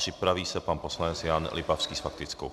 Připraví se pan poslanec Jan Lipavský s faktickou.